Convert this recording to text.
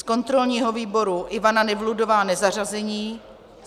Z kontrolního výboru Ivana Nevludová nezařazení.